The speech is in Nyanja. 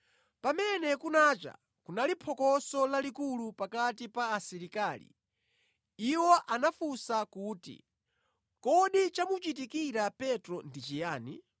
Pamene kunacha kunali phokoso lalikulu pakati pa asilikali, iwo anafunsa kuti, “Kodi chamuchitikira Petro ndi chiyani?”